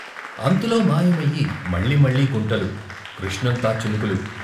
అంతలో మాయమయి మళ్ళీ మళ్ళీ గుంటలు, కృష్ణంతా చినుకులు.